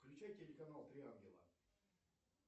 включай телеканал три ангела